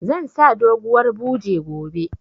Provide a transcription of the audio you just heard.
Zan sa doguwar buje gobe